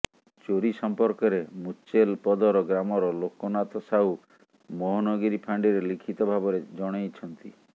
ଚୋରି ସଂର୍ପକରେ ମୁଚେଲ ପଦର ଗ୍ରାମର ଲୋକନାଥ ସାହୁ ମୋହନଗିରି ଫାଣ୍ଡିରେ ଲିଖିତ ଭାବରେ ଜଣେଇ ଛନ୍ତି